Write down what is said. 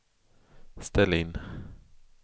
ställ in